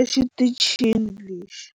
exitichini lexi.